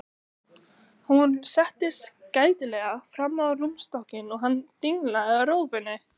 Hún settist gætilega fram á rúmstokkinn og hann dinglaði rófunni.